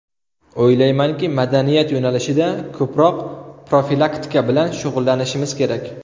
O‘ylaymanki, madaniyat yo‘nalishida ko‘proq profilaktika bilan shug‘ullanishimiz kerak.